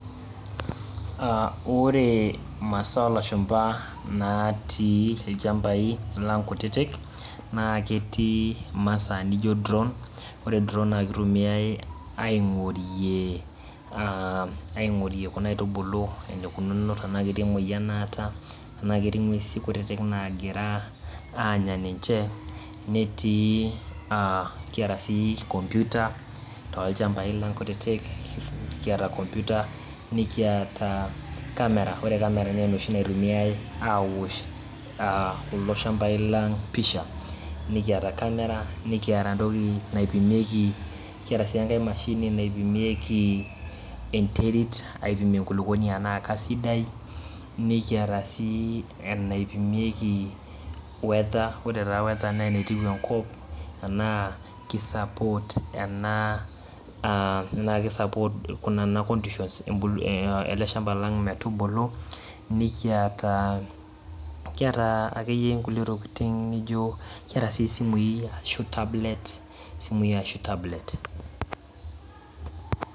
Ore imasaa oolashumba naatii ilchambai lang kutitik naa ketii imasaaa naijio drawn ore drawn naa keitumiyai aing'orie kuna aitubulu tenaa ketii emoyian naata tenaa ketii ing'uesin kutitik naagira aanya ninche netii aa nikiaata sii computer toolchambai lang kutitik nikiata computer niata kamera ore kamera naa enoshi naitumiyai aaoshie kulo shambai lang pisha nikata entoki naipimieki enteri enaa keisdai nikiata sii entoki naipimieki weather naa enetiu enkop enaa keisapot nena tokitin ele shamba metubulu kiata ekeyie inkutitik tokitin neijio isimuui ashuu tablets